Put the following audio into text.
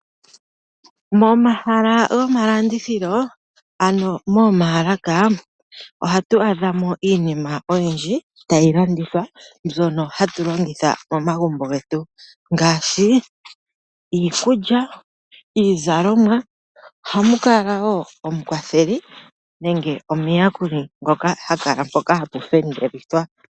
Momahala gomalandithilo ano momaalaka . Ohatu adhamo iinima oyindji tayi landithwa mbyono hatu longitha momagumbo getu ngaashi iikulya, iizalomwa . Ohamukala woo omukwatheli nenge omuyakuli ngoka hakala mpoka hapu fendelithwa.